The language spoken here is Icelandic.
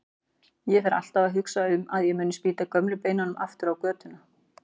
Ég fer alltaf að hugsa um að ég muni spýta gömlu beinunum aftur á götuna.